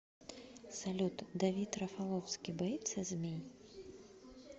салют давид рафаловский боится змей